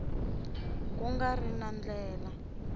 ku nga ri na ndlela